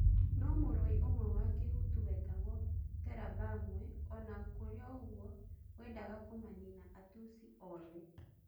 No-mũrũi ũmwe wa Kihutu wetagwo Terabamwe onakũrĩoũguo wendaga kũmanina Atusi othe.